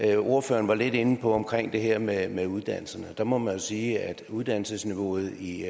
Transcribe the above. det ordføreren var lidt inde på det her med med uddannelserne og der må man jo sige at uddannelsesniveauet i